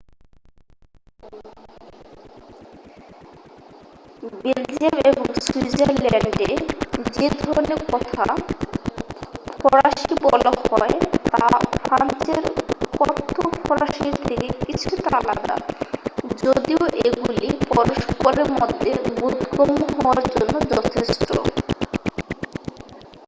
Belgium এবং সুইজারল্যান্ডে যে ধরনের কথ্য ফরাসি বলা হয় তা ফ্রান্সের কথ্য ফরাসির থেকে কিছুটা আলাদা যদিও এগুলি পরস্পরের পক্ষে বোধগম্য হওয়ার জন্য যথেষ্ট